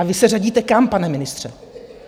A vy se řadíte kam, pane ministře?